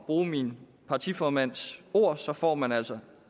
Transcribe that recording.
bruge min partiformands ord så får man altså